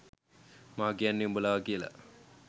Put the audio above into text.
මං කියන්නේ උඹලව කියලා.